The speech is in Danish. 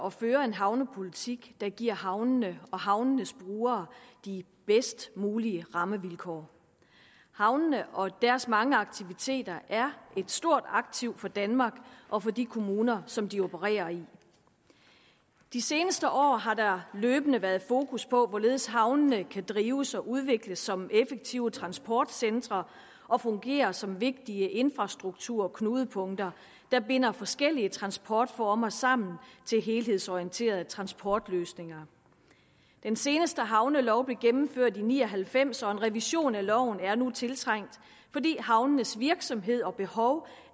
at føre en havnepolitik der giver havnene og havnenes brugere de bedst mulige rammevilkår havnene og deres mange aktiviteter er et stort aktiv for danmark og for de kommuner som de opererer i de seneste år har der løbende været fokus på hvorledes havnene kan drives og udvikles som effektive transportcentre og fungere som vigtige infrastrukturknudepunkter der binder forskellige transportformer sammen til helhedsorienterede transportløsninger den seneste havnelov blev gennemført i nitten ni og halvfems og en revision af loven er nu tiltrængt fordi havnenes virksomhed og behov